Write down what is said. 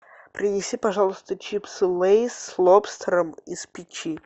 принеси пожалуйста чипсы лейс с лобстером из печи